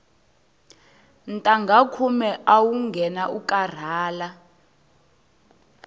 ntangha khume awu nghena u karhala